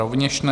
Rovněž ne.